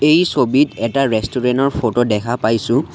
এই ছবিত এটা ৰেষ্টোৰেন ৰ ফটো দেখা পাইছোঁ।